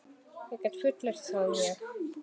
Ég get fullyrt það, ég.